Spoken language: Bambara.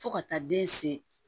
Fo ka taa den se